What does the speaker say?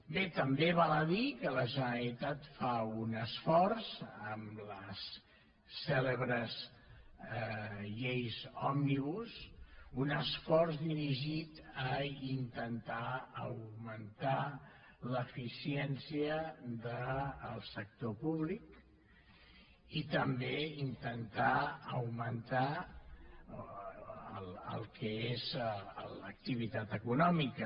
bé també val a dir que la generalitat fa un esforç amb les cèlebres lleis òmnibus un esforç dirigit a intentar augmentar l’eficiència del sector públic i també intentar augmentar el que és l’activitat econòmica